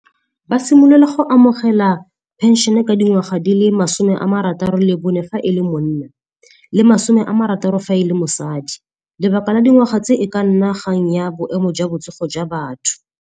Ba simolola go amogela phenšene ka dingwaga di le masome a marataro le bone fa e le monna le masome a marataro fa e le mosadi. Lebaka la dingwaga tse e ka nna kgang ya boemo jwa botsogo jwa batho.